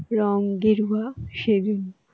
রঙ গেরুয়া সেই জন্য